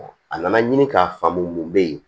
a nana ɲini k'a faamu mun bɛ yen